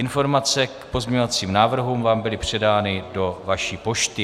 Informace k pozměňovacím návrhům vám byly předány do vaší pošty.